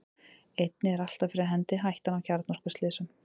einnig er alltaf fyrir hendi hættan á kjarnorkuslysum